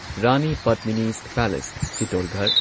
Rani Padmini's palace Chittorgarh